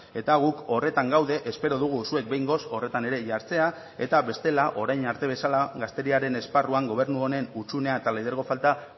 eta guk horretan gaude espero dugu zuek behingoz horretan ere jartzea eta bestela orain arte bezala gazteriaren esparruan gobernu honen hutsunea eta lidergo falta